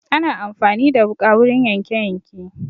Ana amfani da wuƙa wurin yanke yanke